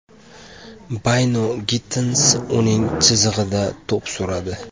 Bayno-Gittens uning chizig‘ida to‘p suradi.